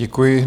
Děkuji.